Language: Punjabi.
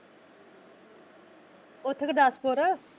ਉੱਥੇ ਗੁਰਦਾਸਪੁਰ।